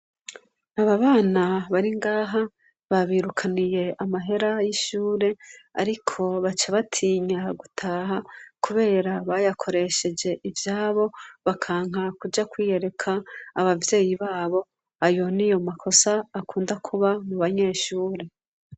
Ababana baringaha babirukaniye amahera yishure ariko baca batinya gutaha kubera bayakoresheje ivyabo bakanka kuja kwiyereka abavyeyi babo ayo niyo makosa akunda kuba mubanyeshure.